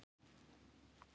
Kamilus, spilaðu lag.